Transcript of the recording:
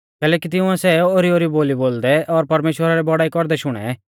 कैलैकि तिंउऐ सै ओरीओरी बोली बोलदै और परमेश्‍वरा री बौड़ाई कौरदै शुणै